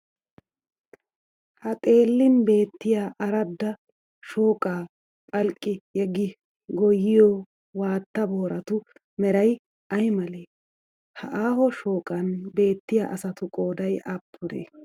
Ha xeellin beettiya aradda shooqaa phalqqi yeggi goyyiya waatta booratu meray ay malee? Ha aaho shooqan beettiya asatu qooday aappunee?